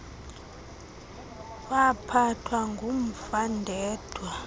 waphathwa ngumva ndedwa